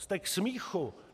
Jste k smíchu!